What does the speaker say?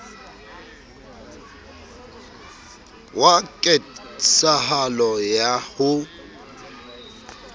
wa ket sahalo ya ho